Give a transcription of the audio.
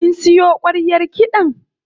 Kin siyo ƙwaryar kiɗan?